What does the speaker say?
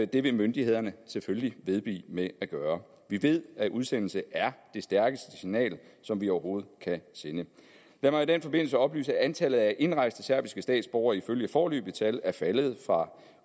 det vil myndighederne selvfølgelig vedblive med at gøre vi ved at udsendelse er det stærkeste signal som vi overhovedet kan sende lad mig i den forbindelse oplyse at antallet af indrejste serbiske statsborgere ifølge foreløbige tal er faldet fra